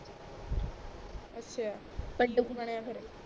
ਅੱਛਾ ਕਿ ਕੁੱਝ ਬਣਿਆ ਫੇਰ